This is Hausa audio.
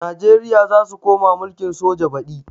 Najeriya zasu koma mulkin soja badi